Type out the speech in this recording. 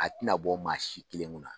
A tɛna bɔ maa si kelen kunna.